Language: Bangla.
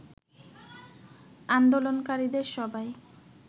আন্দোলনকারীদের সবাই